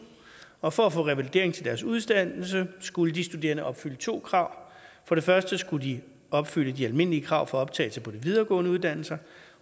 og for at få revalidering til deres uddannelse skulle de studerende opfylde to krav for det første skulle de opfylde de almindelige krav for optagelse på de videregående uddannelser